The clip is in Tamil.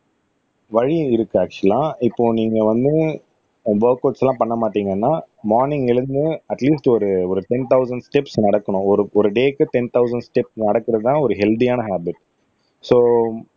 வழி இருக்கு அக்சுவலா இப்போ நீங்க வந்து ஒர்கவுட்ஸ் எல்லாம் பண்ண மாட்டீங்கன்னா மார்னிங்ல எழுந்து அட் லீஸ்ட் ஒரு ஒரு டென் தொளசண்ட் ஸ்டெப்ஸ் நடக்கணும் ஒரு ஒரு டேக்கு டென் தொளசண்ட் ஸ்டெப்ஸ் நடக்கறதுதான் ஒரு ஹெல்த்தியான ஹாபிட் சோ